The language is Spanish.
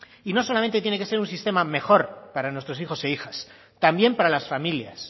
y no solamente tiene que ser un sistema mejor para nuestros hijos e hijas también para las familias